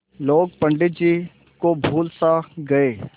लोग पंडित जी को भूल सा गये